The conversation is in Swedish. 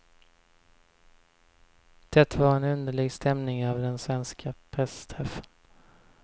Det var en underlig stämning över den svenska pressträffen.